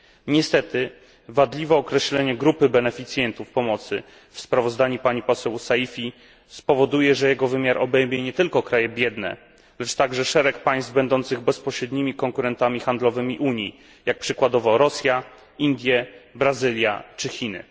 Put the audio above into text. Niestety, wadliwe określenie grupy beneficjentów pomocy w sprawozdaniu pani poseł Saïfi spowoduje, że jego wymiar obejmie nie tylko kraje biedne, lecz także szereg państw będących bezpośrednimi konkurentami handlowymi Unii, jak przykładowo Rosja, Indie, Brazylia, czy Chiny.